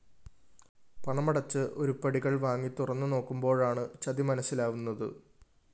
പണമടച്ച് ഉരുപ്പടികള്‍ വാങ്ങി തുറന്ന് നോകുമ്പോഴാണ് ചതി മനസിലാവുന്നത്